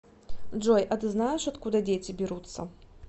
джой а ты знаешь откуда дети берутся